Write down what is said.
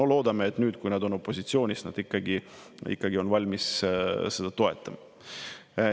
No loodame, et nüüd, kui nad on opositsioonis, nad ikkagi on valmis seda toetama.